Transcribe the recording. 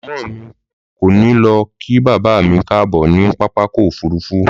Mọ̀mọ́ mi kò ní lọ kí bàbá mi káàbọ̀ ni pápákọ̀ òfuurufú.